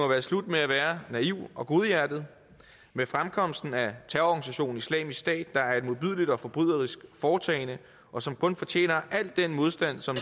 være slut med at være naiv og godhjertet med fremkomsten af terrororganisationen islamisk stat der er et modbydeligt og forbryderisk foretagende og som kun fortjener al den modstand som